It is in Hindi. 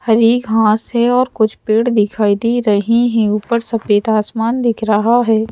हरी घास है और कुछ पेड़ दिखाई दे रही है ऊपर सफेद आसमान दिख रहा है।